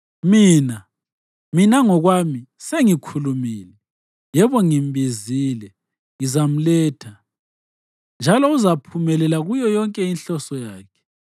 Mina, mina ngokwami, sengikhulumile; yebo ngimbizile. Ngizamletha, njalo uzaphumelela kuyo inhloso yakhe.